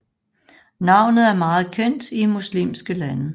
Navnet er meget kendt i muslimske lande